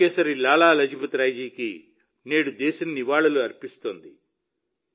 పంజాబ్ కేసరి లాలా లజపతిరాయ్ జీకి నేడు దేశం నివాళులు అర్పిస్తోంది